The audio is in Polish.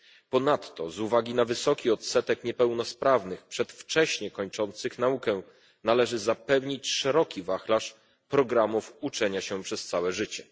Ponadto z uwagi na wysoki odsetek niepełnosprawnych przedwcześnie kończących naukę należy zapewnić szeroki wachlarz programów uczenia się przez całe życie.